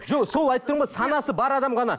жоқ сол айтып тұрмын ғой санасы бар адам ғана